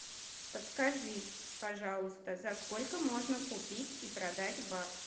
подскажи пожалуйста за сколько можно купить и продать бакс